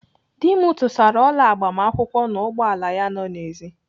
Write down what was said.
Dị m tụsara ọla agbamakwụkwọ n'ụgbọala ya nọ n'èzí.